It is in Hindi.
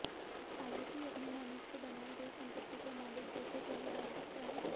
हालांकि अपनी मेहनत से बनाई गई संपत्ति को मालिक जैसे चाहे बांट सकता है